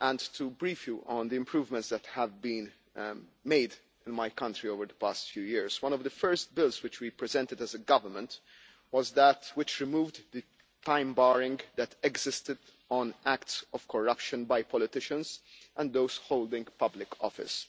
To brief you on the improvements that have been made in my country over the past few years, one of the first bills which we presented as a government was that which removed the time barring that existed on acts of corruption by politicians and those holding public office.